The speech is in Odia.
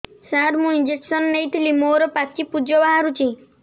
ସାର ମୁଁ ଇଂଜେକସନ ନେଇଥିଲି ମୋରୋ ପାଚି ପୂଜ ବାହାରୁଚି